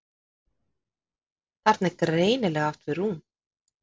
Þarna er greinilega átt við rúm.